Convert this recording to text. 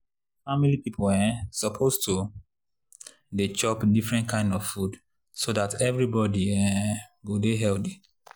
family people um suppose to dey chop different kind of food so dat everybody um go dey healthy.